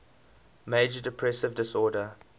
major depressive disorder